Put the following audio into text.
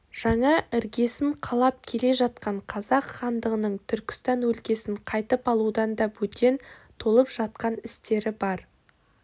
жаңа іргесін қалап келе жатқан қазақ хандығының түркістан өлкесін қайтып алудан да бөтен толып жатқан істері бар